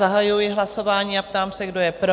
Zahajuji hlasování a ptám se, kdo je pro?